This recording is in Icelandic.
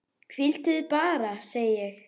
Hvíldu þig bara, segi ég.